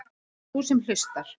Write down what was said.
Sú sem hlustar.